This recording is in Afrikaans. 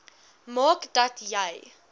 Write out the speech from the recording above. maak dat jy